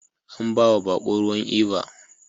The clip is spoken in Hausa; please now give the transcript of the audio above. An bawa bako ruwan Eva